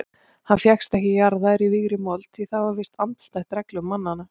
Hann fékkst ekki jarðaður í vígðri mold því það er víst andstætt reglum mannanna.